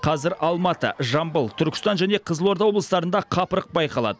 қазір алматы жамбыл түркістан және қызылорда облыстарында қапырық байқалады